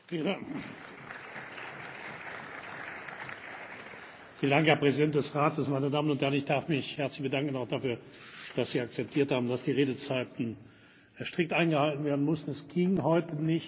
Meine Damen und Herren! Ich darf mich herzlich bedanken, auch dafür, dass Sie akzeptiert haben, dass die Redezeiten strikt eingehalten werden mussten. Es ging heute nicht, ein Verfahren zuzulassen, weil wir unter extremen zeitlichen